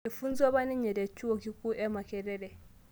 Eifunzuo apa ninye te chuo kikuu e Makerere